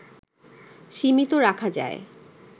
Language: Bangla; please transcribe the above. সীমিত রাখা যায়